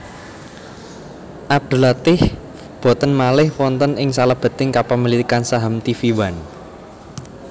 Abdul Latief boten malih wonten ing salebeting kapemilikan saham tvOne